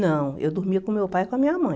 Não, eu dormia com meu pai e com a minha mãe.